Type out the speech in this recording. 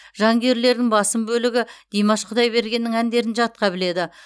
жанкүйерлердің басым бөлігі димаш құдайбергеннің әндерін жатқа біледі